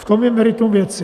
V tom je meritum věci.